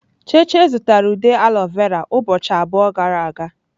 Cheche zụtara ude aloe vera ụbọchị abụọ gara aga.